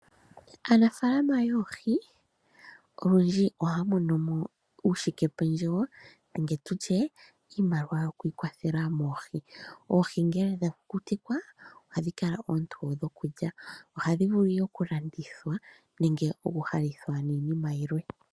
Aanafaalama yoohi olundji ohaya mono mo uushikependjewo nenge iimaliwa yoku ikwathela moohi. Oohi ngele dha kukutikwa ohadhi kala oontoye nokulya. Ohadhi vulu ihe okulandithwa nenge okuhalithwa niinima yilwe.